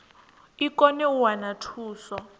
i kone u wana thuso